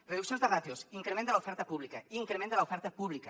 reduccions de ràtios increment de l’oferta pública increment de l’oferta pública